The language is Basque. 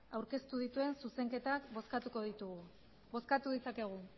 aurkeztu dituen zuzenketak bozkatuko ditugu bozkatu dezakegu